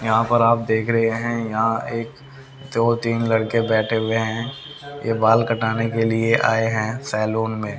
यहां पर आप देख रहे है यहां एक दो तीन लड़के बैठे हुए है ये बाल कटाने के लिए आए है सैलून में--